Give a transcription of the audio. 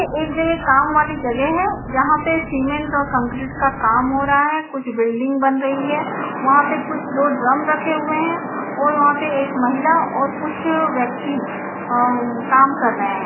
एक जगह काम वाली जगह है जहां पे सिमेन्ट और कंक्रीट का काम हो रहा है कुछ बिल्डिंग बन रही है वहाँ पे कुछ दो ड्रम रखे हुए है और वहाँ पे एक महिला और कुछ व्यक्ति अ काम कर रहे है।